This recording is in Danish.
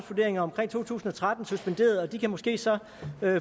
to tusind og tretten suspenderet og de kan måske så